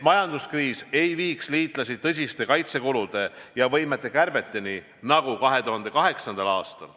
Majanduskriis ei tohiks liitlasi viia tõsiste kaitsekulude ja -võime kärbeteni nagu 2008. aastal.